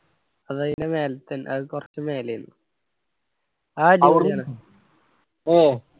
അത് അയിന്റ മേലേത്ത അത് കൊർച് മേലെയെന്ന്